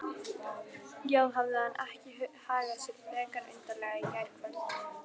Já, hafði hann ekki hagað sér frekar undarlega í gærkvöld?